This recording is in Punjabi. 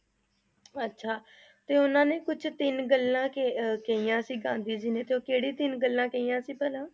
ਅੱਛਾ ਤੇ ਉਹਨਾਂ ਨੇ ਕੁਛ ਤਿੰਨ ਗੱਲਾਂ ਕਹਿ~ ਅਹ ਕਹੀਆਂ ਸੀ ਗਾਂਧੀ ਜੀ ਨੇ ਤੇ ਉਹ ਕਿਹੜੀਆਂ ਤਿੰਨ ਗੱਲਾਂ ਕਹੀਆਂ ਸੀ ਭਲਾ?